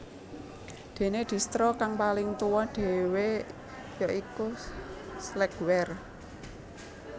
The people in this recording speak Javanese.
Dene Distro kang paling tuwa dhewe ya iku Slackware